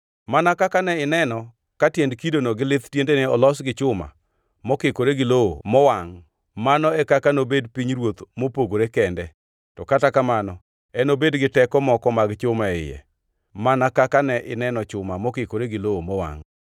Mana kaka ne ineno ka tiend kidono gi lith tiendene olos gi chuma mokikore gi lowo mowangʼ mano e kaka nobed pinyruoth mopogore kende; to kata kamano, enobed gi teko moko mag chuma e iye, mana kaka ne ineno chuma mokikore gi lowo mowangʼ.